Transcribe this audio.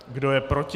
Kdo je proti?